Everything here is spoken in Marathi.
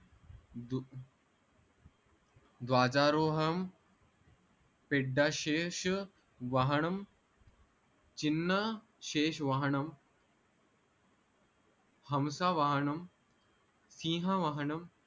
द्वादरोहम पेड्डाशेष वाहणम चिन्न शेष वाहणम हमसा वाहणम सिंह वाहणम